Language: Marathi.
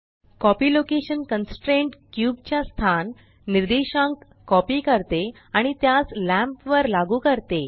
कॉपी लोकेशन कन्स्ट्रेंट क्यूब च्या स्थान निर्देशांक कॉपी करते आणि त्यास लॅंम्प वर लागू करते